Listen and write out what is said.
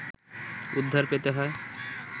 উদ্ধার পেতে হয়